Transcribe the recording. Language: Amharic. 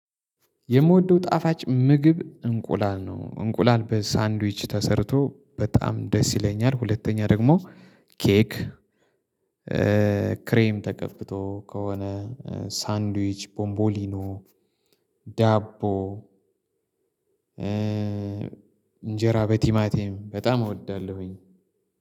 የምወደው ጣፋጭ ምግብ እንቁላል ነው። እንቁላል በሳንድዊች ተሰርቶ በጣም ደስ ይለኛል። ሁለተኛ ደግሞ ኬክ ክሬም ተቀብቶ ከሆነ ሳንድዊች ቦምቦሊኖ ዳቦ። እንጀራ በቲማቲም በጣም እወዳለሁኝ።